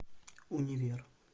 универ